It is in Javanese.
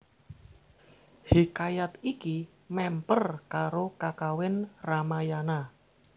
Hikayat iki mèmper karo Kakawin Ramayana